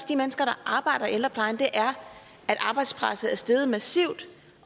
de mennesker der arbejder i ældreplejen er at arbejdspresset er steget massivt